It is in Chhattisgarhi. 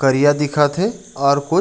करिया दिखत हे और कुछ--